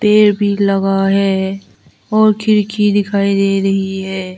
पेड़ भी लगा है और खिड़की दिखाई दे रही है।